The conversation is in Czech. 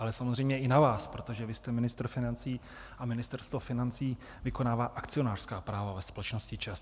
Ale samozřejmě i na vás, protože vy jste ministr financí a Ministerstvo financí vykonává akcionářská práva ve společnosti ČEZ.